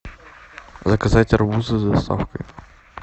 заказать арбузы с доставкой